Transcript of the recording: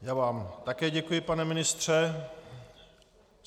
Já vám také děkuji, pane ministře.